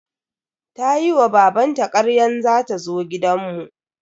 Tayi wa babanta karyan za ta zo gidan mu.